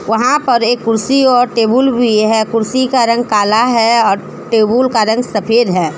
वहां पर एक कुर्सी और टेबुल भी है कुर्सी का रंग काला है और टेबुल का रंग सफेद है।